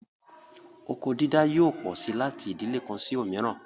Oko dídá yóò pọ sí láti ìdílè kan sí òmíràn